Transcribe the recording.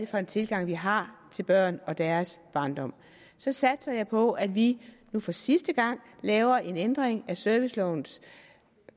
for en tilgang vi har til børn og deres barndom så satser jeg på at vi nu for sidste gang laver en ændring af servicelovens